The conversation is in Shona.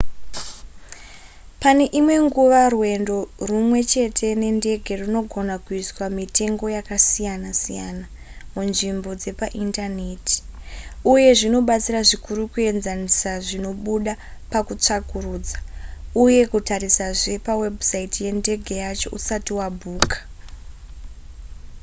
pane imwe nguva rwendo rwumwe chete nendege rwunogona kuiswa mitengo yakasiyana-siyana munzvimbo dzepaindaneti uye zvinobatsira zvikuru kuenzanisa zvinobuda pakutsvakurudza uye kutarisazve pawebhusaiti yendege yacho usati wabhuka